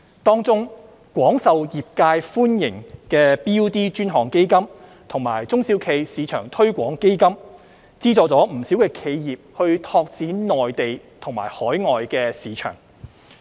當中，廣受業界歡迎的 BUD 專項基金及中小企業市場推廣基金資助了不少企業拓展內地及海外市場。